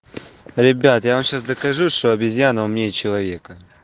ребят я вам сейчас докажу что обезьяна умнее человека